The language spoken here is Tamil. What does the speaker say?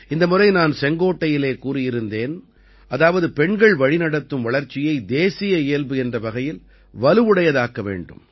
இந்த முறை நான் செங்கோட்டையிலே கூறியிருந்தேன் அதாவது பெண்கள் வழிநடத்தும் வளர்ச்சியை தேசிய இயல்பு என்ற வகையில் வலுவுடையதாக்க வேண்டும்